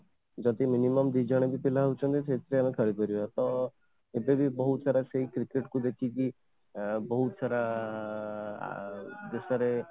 ଯଦି minimum ଦି ଜଣ ବି ପିଲା ହେଉଛନ୍ତି ସେଇଥିରେ ବି ଆମେ ଖେଳିପାରିବା ତ ଏବେ ବି ବହୁତ ସାରା କେହି cricket କୁ ଦେଖିକି ବହୁତ ସାରା ଆଁ ଦେଶ ରେ